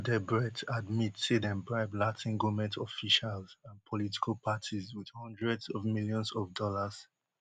wen odebrecht admit say dem bribe latin goment officials and political parties wit hundreds of millions of dollars